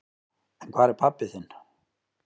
En hvar er pabbi þinn?